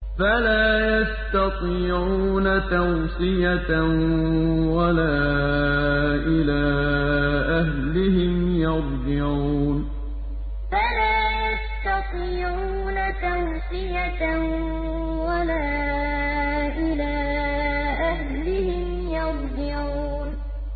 فَلَا يَسْتَطِيعُونَ تَوْصِيَةً وَلَا إِلَىٰ أَهْلِهِمْ يَرْجِعُونَ فَلَا يَسْتَطِيعُونَ تَوْصِيَةً وَلَا إِلَىٰ أَهْلِهِمْ يَرْجِعُونَ